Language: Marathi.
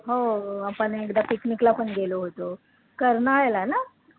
हो आपण एकदा picnic ला पण गेलो होतो, कर्नाळ्याला ना